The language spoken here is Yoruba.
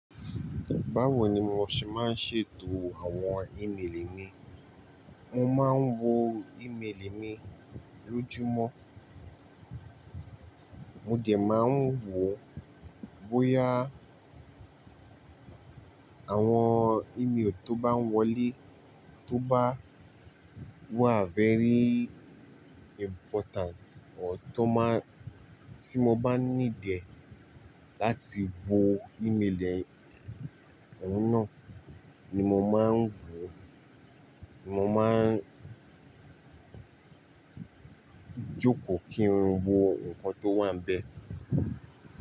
Báwo ni mo ṣe máa ń ṣètò àwọn íméelì mi. Mo máa ń wo ímeélì mi lójúmọ́, mo dẹ̀ máa ń wo bóyá àwọn ímeélì tó bá ń wọlé tó bá wà very important o tí mo bá ní ìdíẹ̀ láti wo íméelì náà ni mo máa ń wò ó. Mo máa ń jókòó kí n lè wo ǹkan tó wà níbẹ̀